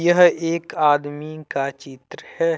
यह एक आदमी का चित्र है।